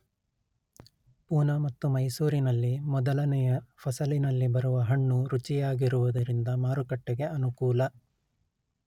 ಪೂನ ಮತ್ತು ಮೈಸೂರಿನಲ್ಲಿ ಮೊದಲನೆಯ ಫಸಲಿನಲ್ಲಿ ಬರುವ ಹಣ್ಣು ರುಚಿಯಾಗಿರುವುದರಿಂದ ಮಾರುಕಟ್ಟೆಗೆ ಅನುಕೂಲ